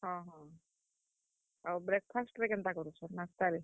ହଁ ହଁ, ଆଉ breakfast ରେ କେନ୍ତା କରୁଛ, ନାସ୍ତା ରେ?